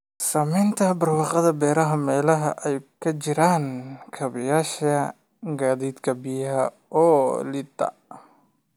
Saamaynta barwaaqada beeraha meelaha ay ka jiraan kaabayaasha gaadiidka biyaha oo liita.